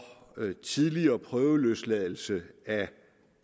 tidligere prøveløsladelse af